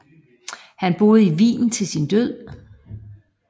Han boede i Wien til sin død